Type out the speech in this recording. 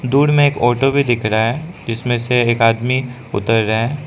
दूर में एक ऑटो भी दिख रहा है जिसमें से एक आदमी उतर रहा है।